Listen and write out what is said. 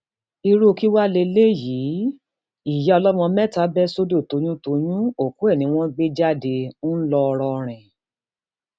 irú kí wàá lélẹyìí ìyá ọlọmọ mẹta bẹ sódò toyúntọyún òkú ẹ ni wọn gbéjáde ńlọrọrìn